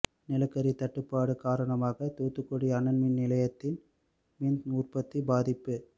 நிலக்கரி தட்டுப்பாடு காரணமாக தூத்துக்குடி அனல்மின் நிலையத்தில் மின் உற்பத்தி பாதிப்பு